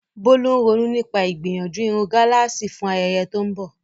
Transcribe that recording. Bolu ń ronú nípa ìgbìyànjú irun gálààsì fún ayẹyẹ tó ń bọ̀.